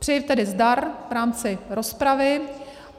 Přeji tedy zdar v rámci rozpravy.